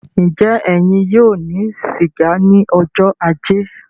Njẹ ẹyin yóò ní siga ní ọjọ ajé?